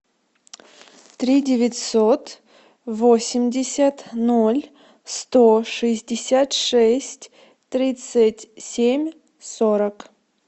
три девятьсот восемьдесят ноль сто шестьдесят шесть тридцать семь сорок